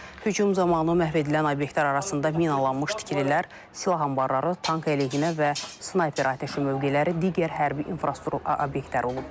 Hücum zamanı məhv edilən obyektlər arasında minalanmış tikililər, silah anbarları, tank əleyhinə və snayper atəşi mövqeləri, digər hərbi infrastruktur obyektləri olub.